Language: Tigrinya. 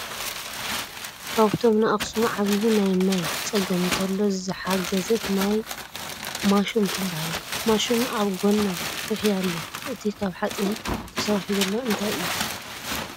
ካብቶም ንኣክሱም ዓብይ ናይ ማይ ፀገም እንተሎ ዝሓገዘት ማይ ማሹም ትበሃል ። ማሹም ኣብ ጎና ኩሒ ኣሎ እቲ ካብ ሓፂን ተሰሪሑ ዘሎ እንታይ እዩ ?